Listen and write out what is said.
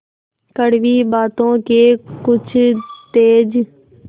कड़वी बातों के कुछ तेज